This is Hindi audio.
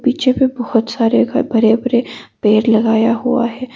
पीछे पर बहुत सारे घर बड़े बड़े पेड़ लगाया हुआ है।